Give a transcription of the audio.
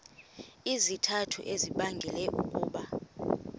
izizathu ezibangela ukuba